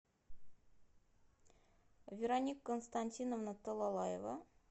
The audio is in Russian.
вероника константиновна талалаева